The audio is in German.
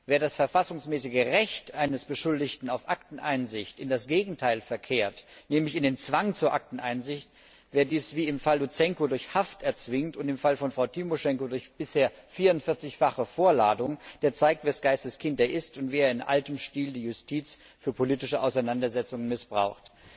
Wer das verfassungsmäßige Recht eines Beschuldigten auf Akteneinsicht in das Gegenteil verkehrt nämlich in den Zwang zur Akteneinsicht wer dies, wie im Fall Luzenko durch Haft erzwingt und im Fall von Frau Timoschenko durch bisher 44fache Vorladungen, der zeigt, wes Geistes Kind er ist und wie er in altem Stil die Justiz für politische Auseinandersetzungen missbraucht.